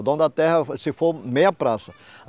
O dono da terra se for meia praça.